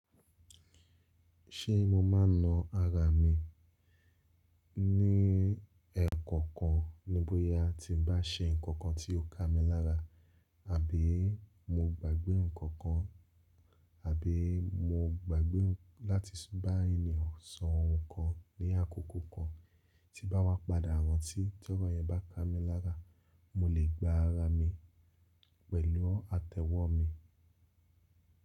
Ṣé mo máa na ara mi ní ẹ̀ẹ̀kọ̀kan ní bóyá a ti bá ṣe nǹkan kan tí ó ká mi lára, àbí mo gbàgbé nǹkan kan, àbí mo gbàgbé láti bá ènìyàn sọ ohun kan ní àkókò kan tí bá wá padà rántí, tí ọ̀rọ̀ yẹn bá ká mi lára, mo lè gba ara mi pẹ̀lú àtẹ́wọ́ mi.